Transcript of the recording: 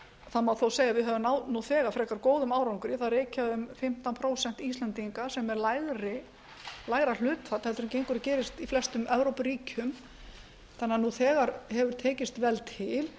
það má þó segja að við höfum náð nú þegar frekar góðum árangri það reykja um fimmtán prósent íslendinga sem er lægra hlutfall heldur en gengur og gerist í flestum evrópuríkjum þannig að nú þegar hefur tekist vel til